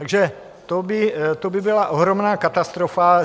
Takže to by byla ohromná katastrofa.